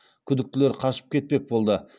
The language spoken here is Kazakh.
күдіктілер қашып кетпек болды